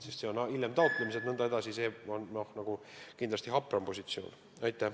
Kui see on hiljem taotlemisel, siis see on kindlasti hapram positsioon.